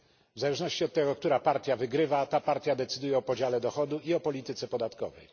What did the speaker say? W zależności od tego, która partia wygrywa, ta partia decyduje o podziale dochodu i o polityce podatkowej.